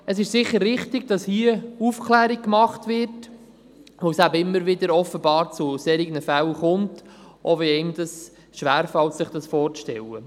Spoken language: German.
Es ist sicher richtig, dass hier Aufklärung gemacht wird, weil es offenbar immer wieder zu solchen Fällen kommt, auch wenn es schwerfällt, sich dies vorzustellen.